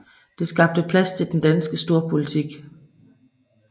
Det skabte plads til den danske storpolitik